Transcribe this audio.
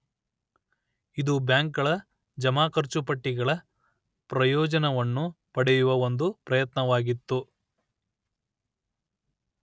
ಇದು ಬ್ಯಾಂಕುಗಳ ಜಮಾಖರ್ಚು ಪಟ್ಟಿಗಳ ಪ್ರಯೋಜನವನ್ನು ಪಡೆಯುವ ಒಂದು ಪ್ರಯತ್ನವಾಗಿತ್ತು